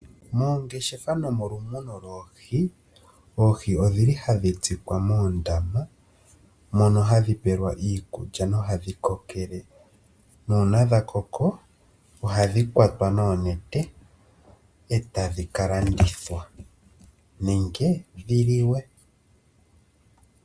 Moongeshefa nomolumuno loohi, oohi odhili hadhi tsikwa moondama mono hadhi pelwa iikulya nohadhi kokele, nuuna dha koko ohadhi kwatwa noonete etadhi ka landithwa nenge dhi liwe.